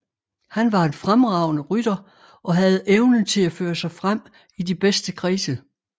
Han var en fremragende rytter og havde evnen til at føre sig frem i de bedste kredse